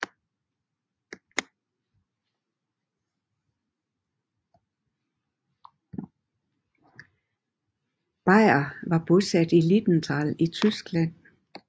Beyer var bosat i Lilienthal i Tyskland